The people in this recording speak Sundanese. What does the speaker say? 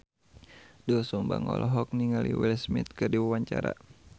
Doel Sumbang olohok ningali Will Smith keur diwawancara